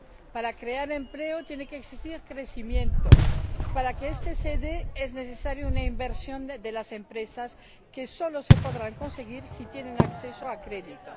Para crear empleo tiene que existir crecimiento, y para que este se dé es necesaria una inversión de las empresas que solo se podrá conseguir si estas tienen acceso a crédito.